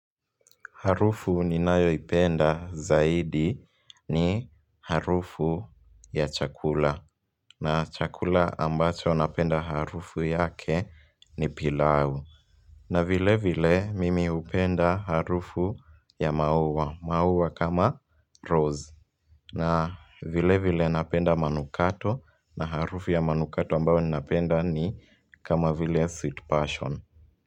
Harufu ninayoipenda zaidi ni harufu ya chakula. Na chakula ambacho napenda harufu yake ni pilau. Na vile vile mimi hupenda harufu ya maua. Maua kama rose. Na vile vile napenda manukato na harufu ya manukato ambao ni napenda ni kama vile sweet passion.